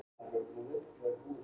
Eyktarsmára